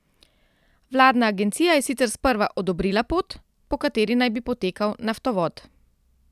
Vladna agencija je sicer sprva odobrila pot, po kateri naj bi potekal naftovod.